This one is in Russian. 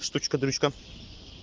штучка-дрючка